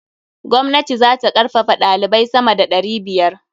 Gwamnati za ta karfafaɗalibai sama da ɗari biyar.